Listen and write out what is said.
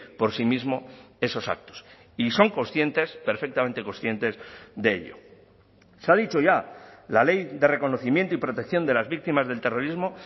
por sí mismo esos actos y son conscientes perfectamente conscientes de ello se ha dicho ya la ley de reconocimiento y protección de las víctimas del terrorismo